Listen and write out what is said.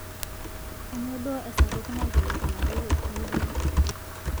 kainyoo duo esapuk naikilikuanaki te google